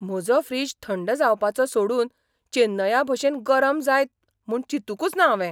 म्हजो फ्रिज थंड जावपाचो सोडून चेन्नया भशेन गरम जायत म्हूण चिंतुकूच ना हांवें!